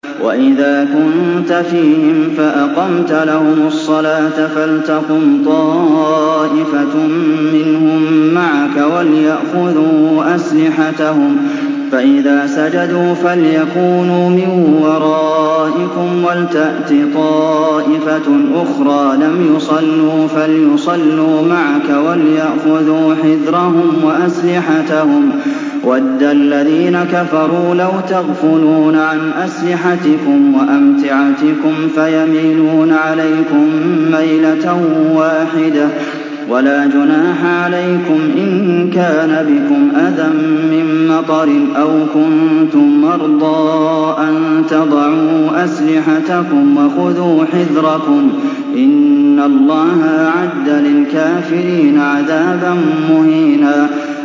وَإِذَا كُنتَ فِيهِمْ فَأَقَمْتَ لَهُمُ الصَّلَاةَ فَلْتَقُمْ طَائِفَةٌ مِّنْهُم مَّعَكَ وَلْيَأْخُذُوا أَسْلِحَتَهُمْ فَإِذَا سَجَدُوا فَلْيَكُونُوا مِن وَرَائِكُمْ وَلْتَأْتِ طَائِفَةٌ أُخْرَىٰ لَمْ يُصَلُّوا فَلْيُصَلُّوا مَعَكَ وَلْيَأْخُذُوا حِذْرَهُمْ وَأَسْلِحَتَهُمْ ۗ وَدَّ الَّذِينَ كَفَرُوا لَوْ تَغْفُلُونَ عَنْ أَسْلِحَتِكُمْ وَأَمْتِعَتِكُمْ فَيَمِيلُونَ عَلَيْكُم مَّيْلَةً وَاحِدَةً ۚ وَلَا جُنَاحَ عَلَيْكُمْ إِن كَانَ بِكُمْ أَذًى مِّن مَّطَرٍ أَوْ كُنتُم مَّرْضَىٰ أَن تَضَعُوا أَسْلِحَتَكُمْ ۖ وَخُذُوا حِذْرَكُمْ ۗ إِنَّ اللَّهَ أَعَدَّ لِلْكَافِرِينَ عَذَابًا مُّهِينًا